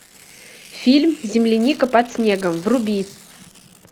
фильм земляника под снегом вруби